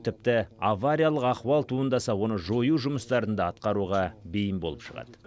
тіпті авариялық ахуал туындаса оны жою жұмыстарын да атқаруға бейім болып шығады